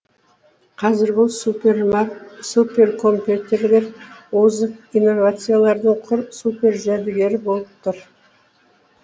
қазір бұл суперкомпьютерлер озық инновациялардың құр супер жәдігері болып тұр